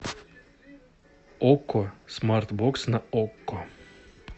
окко смарт бокс на окко